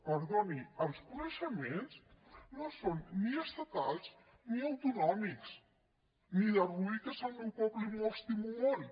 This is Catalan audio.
perdoni els coneixements no són ni estatals ni autonòmics ni de rubí que és el meu poble i me l’estimo molt